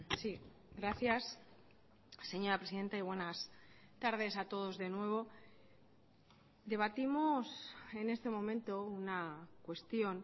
sí gracias señora presidenta y buenas tardes a todos de nuevo debatimos en este momento una cuestión